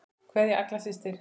Kveðja, Agla systir.